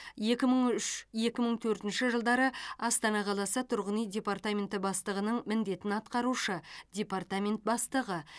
екі мың үш екі мың төртінші жылдары астана қаласы тұрғын үй департаменті бастығының міндетін атқарушы департамент бастығы